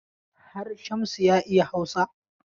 Har Shamsu ya iya Hausa?